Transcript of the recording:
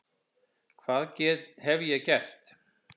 Hvað hef ég gert?